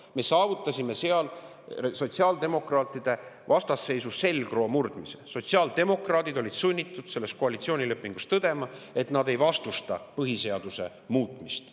Aga me saavutasime seal sotsiaaldemokraatide vastasseisu selgroo murdmise, sotsiaaldemokraadid olid sunnitud selles koalitsioonilepingus tõdema, et nad ei vastusta põhiseaduse muutmist.